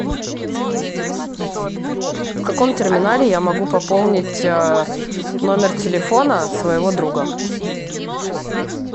в каком терминале я могу пополнить номер телефона своего друга